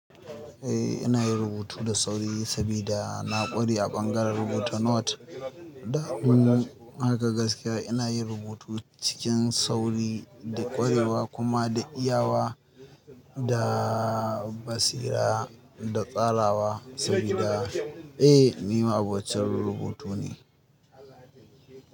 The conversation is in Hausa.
Eh ina yin rubutu da sauri saboda na ƙware a bangaren rubuta nota. Da hannu haka gaskiya ina yin rubutu cikin sauri da ƙwarewa kuma da iyawa da basira da tsarawa saboda eh ni ma abocin rubutu ne.